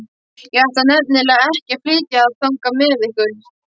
Ég ætla nefnilega ekki að flytja þangað með ykkur.